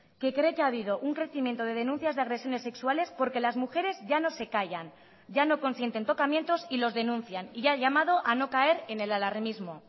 que cree que ha habido un crecimiento de denuncias de agresiones sexuales porque las mujeres ya no se callan ya no consienten tocamientos y los denuncian y ha llamado a no caer en el alarmismo